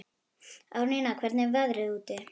Árnína, hvernig er veðrið úti?